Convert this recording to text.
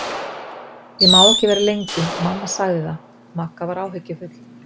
Ég má ekki vera lengi, mamma sagði það Magga var áhyggjufull.